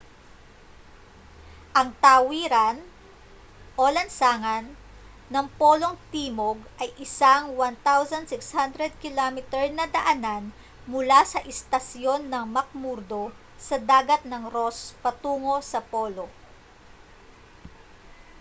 ang tawiran o lansangan ng polong timog ay isang 1600 km na daanan mula sa istasyon ng mcmurdo sa dagat ng ross patungo sa polo